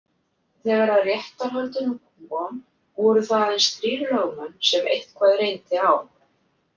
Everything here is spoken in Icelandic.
Þegar að réttarhöldum kom voru það aðeins þrír lögmenn sem eitthvað reyndi á.